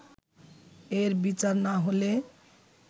এর বিচার না হলে